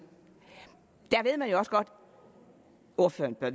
og og ordføreren bør